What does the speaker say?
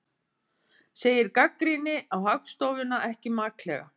Segir gagnrýni á Hagstofuna ekki maklega